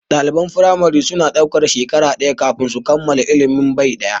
Ɗaliban firamare na daukar shekaru shida kafin su kammala ilimin bai ɗaya.